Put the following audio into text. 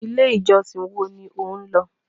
1. ilé ìjọsìn woa ni o nlọ